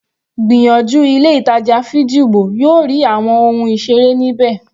Gbìyànjú ilé ìtàjà Figgy ìwọ yóò rí àwọn ohun ìseré ní bẹ́ẹ̀.